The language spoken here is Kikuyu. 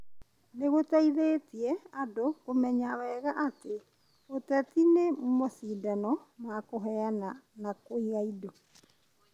nĩ gũteithĩtie andũ kũmenya wega atĩ ũteti nĩ macindano ma kũheana na kũiga indo.